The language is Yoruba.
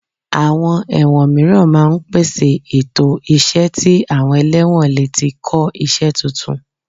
Àwọn ẹ̀wọ̀n mìíràn máa ń pèsè ètò iṣẹ́ tí àwọn ẹlẹ́wọ̀n lè ti kọ́ iṣẹ́ tuntun